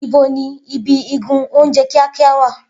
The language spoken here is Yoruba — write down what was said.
Ibo ni ibi igun oúnjẹ kíákíá wà?